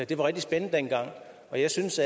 det var rigtig spændende dengang og jeg synes